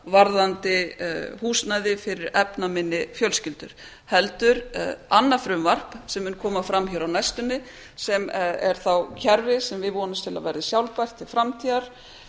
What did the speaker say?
varðandi húsnæði fyrir efnaminni fjölskyldur heldur annað frumvarp sem mun koma fram hér á næstunni sem er þá kerfi sem við vonumst til að verði sjálfbært til framtíðar